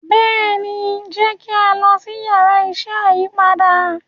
béèni jẹ ki a lọ si Yàrá iṣẹ́ ayípadà.